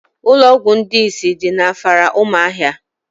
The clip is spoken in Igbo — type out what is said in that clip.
Ụlọọgwụ ndị isi dị n'Afara umuahia